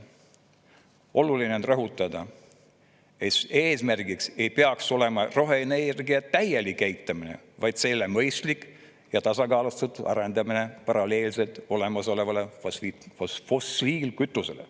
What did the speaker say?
Oluline on rõhutada, et eesmärgiks ei peaks olema roheenergia täielik eitamine, vaid selle mõistlik ja tasakaalustatud arendamine paralleelselt olemasoleva fossiilkütusega.